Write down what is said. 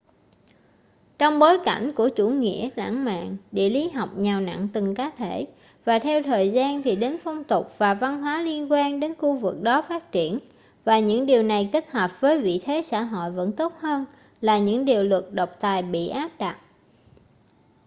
trong bối cảnh của chủ nghĩa lãng mạn địa lý học nhào nặn từng cá thể và theo thời gian thì đến phong tục và văn hóa liên quan đến khu vực đó phát triển và những điều này kết hợp với vị thế xã hội vẫn tốt hơn là những điều luật độc tài bị áp đặt